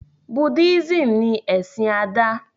Buddhism ní ẹsìn Ada